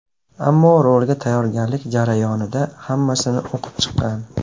Ammo rolga tayyorgarlik jarayonida hammasini o‘qib chiqqan.